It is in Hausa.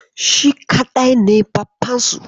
Shi kaɗai ne baffansu.